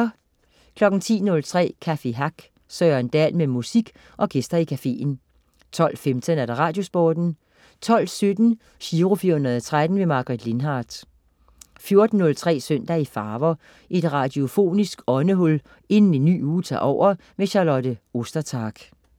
10.03 Café Hack. Søren Dahl med musik og gæster i caféen 12.15 Radiosporten 12.17 Giro 413. Margaret Lindhardt 14.03 Søndag i farver. Et radiofonisk åndehul inden en ny uge tager over. Charlotte Ostertag